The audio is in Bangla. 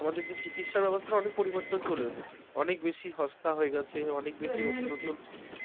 আমাদের যে চিকিৎসা ব্যবস্থার অনেক পরিবর্তন চলে এসেছে অনেক বেশি সস্তা হয়ে গেছে অনেক বেশি নতুন নতুন